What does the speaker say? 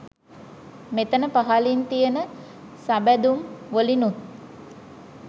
මෙතන පහළින් තියන සබැඳුම් වලිනුත්